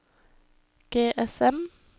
GSM